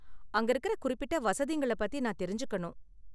அங்க இருக்குற குறிப்பிட்ட வசதிங்கள பத்தி நான் தெரிஞ்சுக்கணும்.